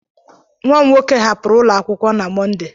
Nwa m nwoke hapụrụ ụlọ akwụkwọ na Mọnde.